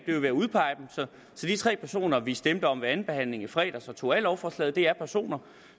er ved at udpege dem så de tre personer vi stemte om ved andenbehandlingen i fredags og tog af lovforslaget er personer